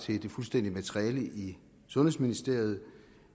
til det fuldstændige materiale i sundhedsministeriet